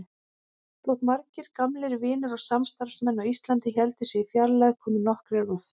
Þótt margir gamlir vinir og samstarfsmenn á Íslandi héldu sig í fjarlægð komu nokkrir oft.